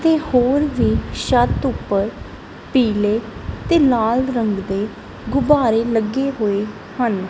ਤੇ ਹੋਰ ਵੀ ਛੱਤ ਉੱਪਰ ਪੀਲੇ ਤੇ ਲਾਲ ਰੰਗ ਦੇ ਗੁਬਾਰੇ ਲੱਗੇ ਹੋਏ ਹਨ।